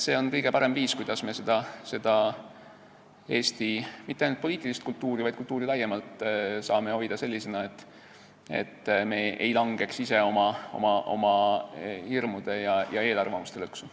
See on kõige parem viis, kuidas me Eesti mitte ainult poliitilist kultuuri, vaid ka kultuuri laiemalt saame hoida sellisena, et me ei langeks ise oma hirmude ja eelarvamuste lõksu.